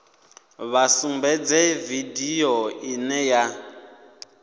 vha sumbedze vidio ine ya